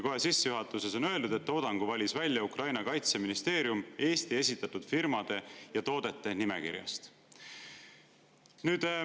Kohe sissejuhatuses on öeldud, et toodangu valis välja Ukraina kaitseministeerium Eesti esitatud firmade ja toodete nimekirjast.